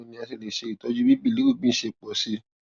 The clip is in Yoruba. báwo ni a ṣe lè ṣe itọju bí bilirubin ṣe pọ sí i